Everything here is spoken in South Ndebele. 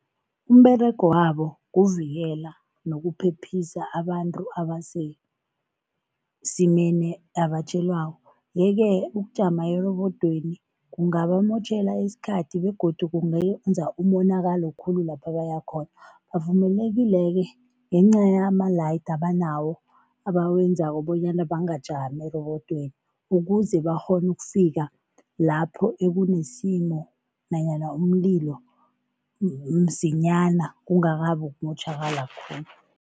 Umberego wabo kuvikela nokuphephisa abantu abasesimeni abatjhelwako yeke ukujama erobodweni kungabamotjhele isikhathi begodu kungenza umonakalo khulu lapha bayakhona. Bavumelekile-ke ngenca yama-light abanawo, abawenzako bonyana bangajama erobodweni ukuze bakghone ukufika lapho ekunesimo nanyana umlilo msinyana, kungakabi ukumotjhakala khulu.